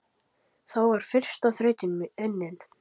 Þá var fyrsta þrautin unnin.